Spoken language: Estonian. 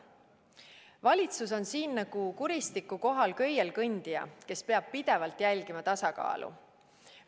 Valitsus on siin nagu kuristiku kohal köielkõndija, kes peab pidevalt jälgima tasakaalu.